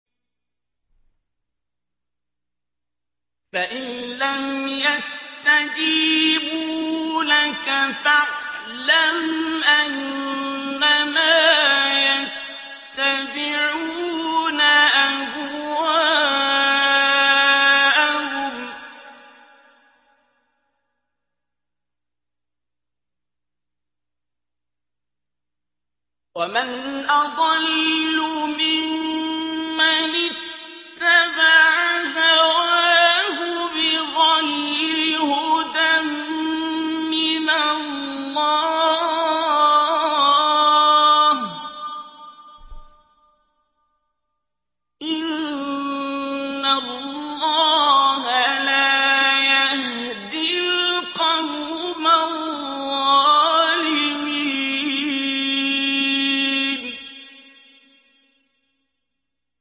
فَإِن لَّمْ يَسْتَجِيبُوا لَكَ فَاعْلَمْ أَنَّمَا يَتَّبِعُونَ أَهْوَاءَهُمْ ۚ وَمَنْ أَضَلُّ مِمَّنِ اتَّبَعَ هَوَاهُ بِغَيْرِ هُدًى مِّنَ اللَّهِ ۚ إِنَّ اللَّهَ لَا يَهْدِي الْقَوْمَ الظَّالِمِينَ